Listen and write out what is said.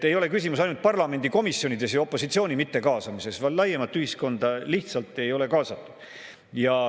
Ei ole küsimus ainult parlamendi komisjonide ja opositsiooni mittekaasamises, vaid laiemat ühiskonda lihtsalt ei ole kaasatud.